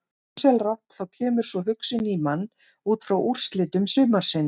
Ósjálfrátt þá kemur sú hugsun í mann útfrá úrslitum sumarsins.